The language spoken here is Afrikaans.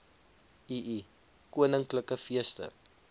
ii koninklike feeste